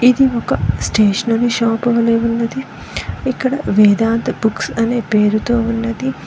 ఇది ఒక stationery shop వలే ఉన్నది ఇక్కడ వేదాంత్ బుక్స్ అనే పేరుతో ఉన్నది